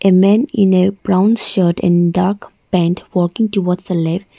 a man in a brown shirt and dark pant working towards the left.